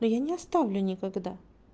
но я не оставлю никогда